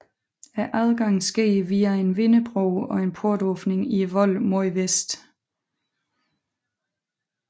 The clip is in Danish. Adgangen sker via en vindebro og en portåbning i volden mod vest